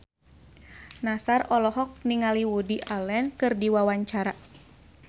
Nassar olohok ningali Woody Allen keur diwawancara